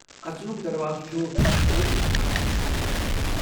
اژنُک دروازٕ چُھ أنٛز نِشانہٕ سۭتۍ سجٲوِتھ ۔